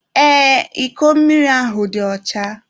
Ee, iko mmiri ahụ dị ọcha.